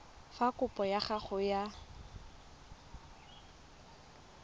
fa kopo ya gago ya